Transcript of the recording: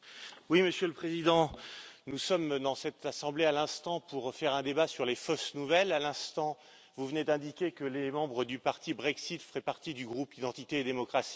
Monsieur le Président, nous sommes dans cette Assemblée à l'instant pour faire un débat sur les fausses nouvelles, à l'instant, vous venez d'indiquer que les membres du parti Brexit feraient partie du groupe Identité et démocratie.